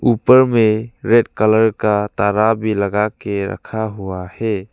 ऊपर में red colour का तारा भी लगा के रखा हुआ है।